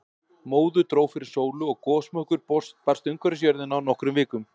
Móðu dró fyrir sólu og gosmökkur barst umhverfis jörðina á nokkrum vikum.